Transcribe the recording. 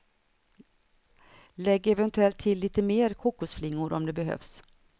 Lägg eventuellt till lite mer kokosflingor om det behövs.